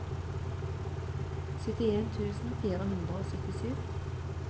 syttien tusen fire hundre og syttisju